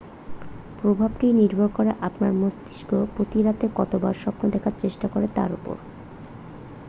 প্রভাবটি নির্ভর করে আপনার মস্তিষ্ক প্রতি রাতে কতবার স্বপ্ন দেখার চেষ্টা করে তার উপর